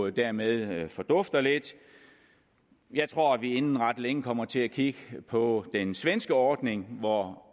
dermed fordufter lidt jeg tror at vi inden ret længe kommer til at kigge på den svenske ordning hvor